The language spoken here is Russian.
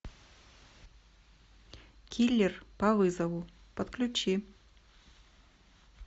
киллер по вызову подключи